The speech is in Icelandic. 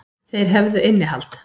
Þeir hefðu innihald.